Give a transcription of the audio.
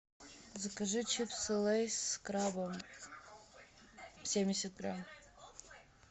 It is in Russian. закажи чипсы лейс с крабом семьдесят грамм